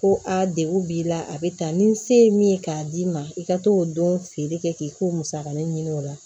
Ko a degun b'i la a bɛ taa ni n se ye min ye k'a d'i ma i ka t'o don feere kɛ k'i k'o musakanin ɲini o la